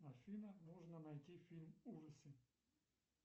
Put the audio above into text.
афина нужно найти фильм ужасы